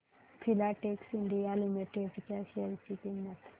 Filatex India Limited च्या share ची किंमत